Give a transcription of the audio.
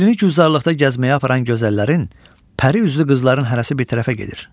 Leylini güldarlıqda gəzməyə aparan gözəllərin, pəri üzlü qızların hərəsi bir tərəfə gedir.